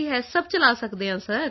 ਹੈ ਸਭ ਚਲਾ ਸਕਦੇ ਹਾਂ ਸਰ